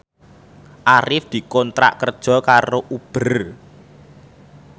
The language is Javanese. Arif dikontrak kerja karo Uber